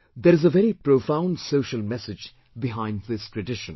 There is a very profound social message behind this tradition